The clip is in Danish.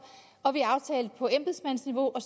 og vi aftalte på embedsmandsniveau at